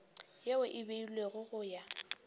yeo e beilwego go ya